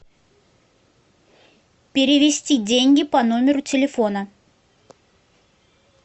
перевести деньги по номеру телефона